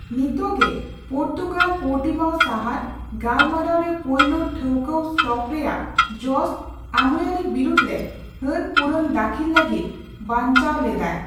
ᱱᱤᱛᱚᱜ ᱜᱮ, Portugal Portimao ᱥᱟᱦᱟᱨ, ᱜᱟᱞᱢᱟᱨᱟᱣ ᱨᱮ ᱯᱳᱭᱞᱳ ᱴᱷᱟᱹᱣᱠᱟᱣ ᱥᱴᱚᱯ ᱨᱮᱭᱟᱜ ᱡᱚᱥ, ᱟᱹᱢᱩᱭᱟᱨᱤ ᱵᱤᱨᱩᱫ ᱨᱮ ᱦᱟᱹᱱᱯᱩᱨᱩᱱ ᱫᱟᱹᱠᱷᱤᱞ ᱞᱟᱹᱜᱤᱫ ᱵᱟᱪᱱᱟᱣ ᱞᱮᱫᱟᱭ ᱾